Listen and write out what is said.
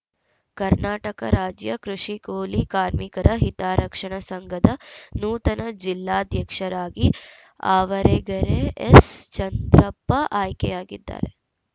ಕರ್ನಾಟಕ ರಾಜ್ಯ ಕೃಷಿ ಕೂಲಿ ಕಾರ್ಮಿಕರ ಹಿತರಕ್ಷಣಾ ಸಂಘದ ನೂತನ ಜಿಲ್ಲಾಧ್ಯಕ್ಷರಾಗಿ ಆವರಗೆರೆ ಎಸ್‌ಚಂದ್ರಪ್ಪ ಆಯ್ಕೆಯಾಗಿದ್ದಾರೆ